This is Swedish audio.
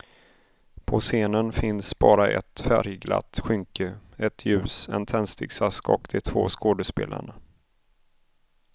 På scenen finns bara ett färgglatt skynke, ett ljus, en tändsticksask och de två skådespelarna.